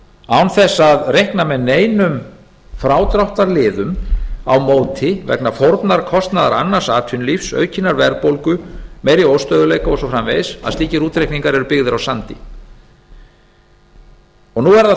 án þess að reikna með neinum frádráttarliðum á móti vegna fórnarkostnaðar annars atvinnulífs aukinnar verðbólgu og meiri óstöðugleika og svo framvegis að slíkir útreikningar eru byggðir á sandi nú er það